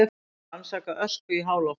Rannsaka ösku í háloftunum